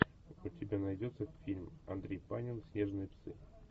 у тебя найдется фильм андрей панин снежные псы